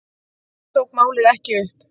Hann tók málið ekki upp.